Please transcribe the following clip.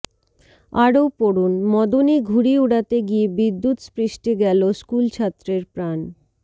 আরো পড়ুনঃ মদনে ঘুড়ি উড়াতে গিয়ে বিদ্যুৎস্পৃষ্টে গেল স্কুলছাত্রের প্রাণ